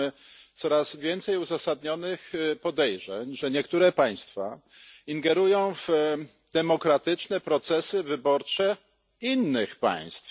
Mamy coraz więcej uzasadnionych podejrzeń, że niektóre państwa ingerują w demokratyczne procesy wyborcze innych państw.